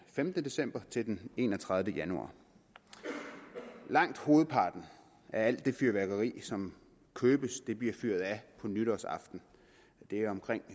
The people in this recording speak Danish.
femte december til den enogtredivete januar langt hovedparten af alt det fyrværkeri som købes bliver fyret af nytårsaften og det er omkring